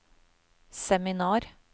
seminar